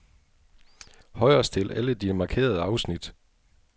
Højrestil alle de markerede afsnit.